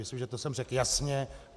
Myslím, že to jsem řekl jasně.